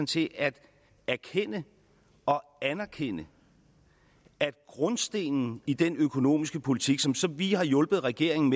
til at erkende og anerkende at grundstenen i den økonomiske politik som som vi har hjulpet regeringen